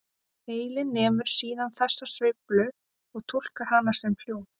Heilinn nemur síðan þessa sveiflu og túlkar hana sem hljóð.